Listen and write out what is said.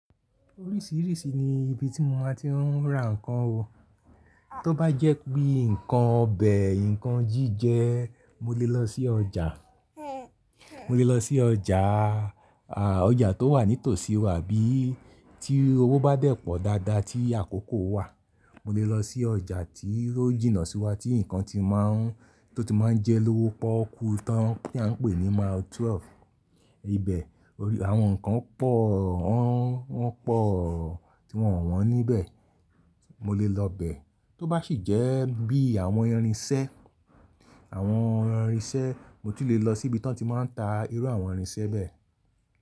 Oríṣìíríṣìí ni ibi tí mo máa ti ń ra nnkan ó. Tó bá jẹ́ pé nǹkan ọbẹ̀, nnkan jíjẹ, mo lè lọ sí ọjà. Mo lè lọ sí ọjà, ọjà tó wà ní tòsí wa. Bí tí owó bá dẹ̀ pọ̀ dáadáa tí àkókò wà, mo lè lọ sí ọjà tí ó jìnnà sí wa tí nnkan ti máa ń, tó ti máa ń jẹ lówo pọ́kú tan tí a ń pè ní Mile 12. Ibẹ̀ àwọn nnkan pọ̀, wọ́n pọ̀ tí wọ́n ò wọ́n níbẹ̀. Mo lè lọ bẹ̀. Tó bá sì jẹ́ bí àwọn irinṣẹ́, àwọn irinṣẹ́, mo tu lè lọ sí ibi tí wọ́n ti máa ń ta irú àwọn irinṣẹ́ bẹ́ẹ̀.